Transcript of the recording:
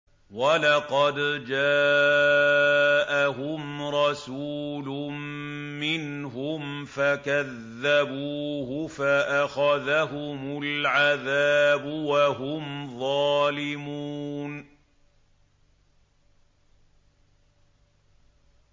وَلَقَدْ جَاءَهُمْ رَسُولٌ مِّنْهُمْ فَكَذَّبُوهُ فَأَخَذَهُمُ الْعَذَابُ وَهُمْ ظَالِمُونَ